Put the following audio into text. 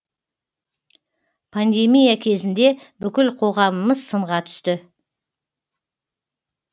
пандемия кезінде бүкіл қоғамымыз сынға түсті